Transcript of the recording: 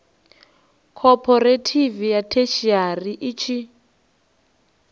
khophorethivi ya theshiari i tshi